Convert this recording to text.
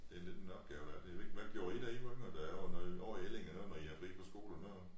Det lidt en opgave ja ved ikke hvad gjorde i da i var yngre der var noget ovre i Ellinge der når i havde fri fra skole og noget